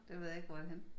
Det ved jeg ikke hvor er henne